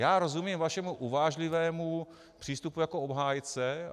Já rozumím vašemu uvážlivému přístupu jako obhájce.